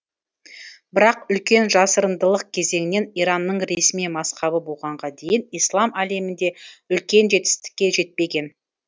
бірақ үлкен жасырындылық кезеңінен иранның ресми мазһабы болғанға дейін ислам әлемінде үлкен жетістікке жетпеген